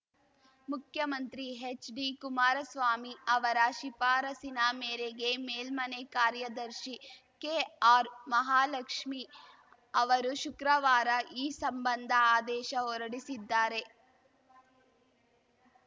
ಮುಖ್ಯಮಂತ್ರಿ ಹೆಚ್‌ಡಿಕುಮಾರಸ್ವಾಮಿ ಅವರ ಶಿಫಾರಸಿನ ಮೇರೆಗೆ ಮೇಲ್ಮನೆ ಕಾರ್ಯದರ್ಶಿ ಕೆಆರ್‌ಮಹಾಲಕ್ಷ್ಮಿ ಅವರು ಶುಕ್ರವಾರ ಈ ಸಂಬಂಧ ಆದೇಶ ಹೊರಡಿಸಿದ್ದಾರೆ